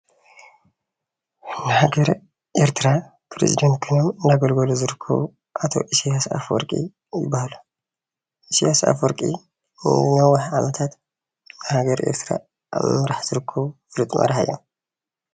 ንሃገረ ኤርትራ ፕረዚዳንት ኮይኖም እናገልገሉ ዝርከቡ ኣቶ ኢሳያስ ኣፈወርቂ ይባሃሉ፡፡ ኢሳያስ ኣፈወርቂ ን ነዊሕ ዓመታት ሃገረ ኤርትራ ኣብ ምምራሕ ዝርከቡ ፍሉጥ ማራሒ እዮም፡፡